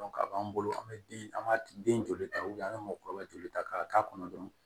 ka b'an bolo an bɛ den an b'a den joli ta an bɛ mɔgɔkɔrɔba joli ta k'a k'a kɔnɔ dɔrɔn